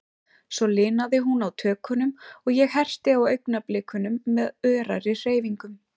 Svo linaði hún á tökunum, og ég herti á augnablikunum með örari hreyfingum.